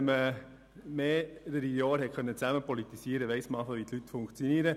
Wenn man mehrere Jahre zusammen hat politisieren können, weiss man, wie die Leute funktionieren.